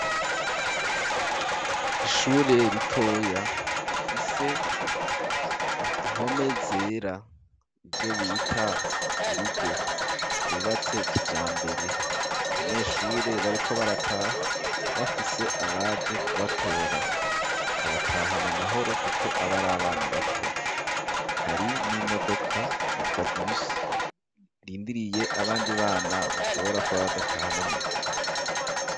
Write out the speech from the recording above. Ishure ritoya rifise impome zera ivyo bita urugo rwubatse kijambere abanyeshure bariko barataha bafise abaje kubatora ikabataha amahoro kuko abari abana bato hari n'imodoka yitwa bisi irindiriye abandi bana bashobora kuba badataha n'amaguru.